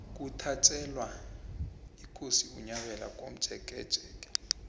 kuthatjelwa ikosi unyabela komjekejeke